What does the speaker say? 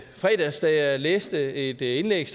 fredags da jeg læste et indlæg